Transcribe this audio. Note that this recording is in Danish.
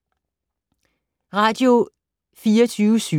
Radio24syv